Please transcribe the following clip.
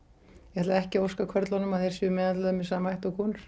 ég ætla ekki að óska körlunum að þeir séu meðhöndlaðir með sama hætti og konur